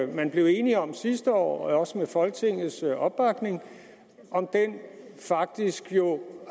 man blev enige om sidste år også med folketingets opbakning jo faktisk